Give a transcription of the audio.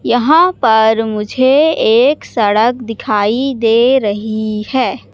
यहां पर मुझे एक सड़क दिखाई दे रही है।